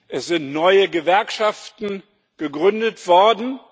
Es sind neue Gewerkschaften gegründet worden.